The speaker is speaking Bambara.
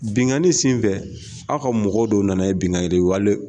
Binganin sen fɛ aw ka mɔgɔ dɔ nana ye binganin wale.